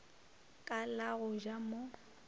ka la go ja mo